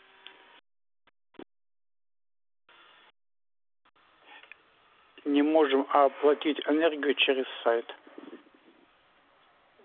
не можем оплатить энергию через сайт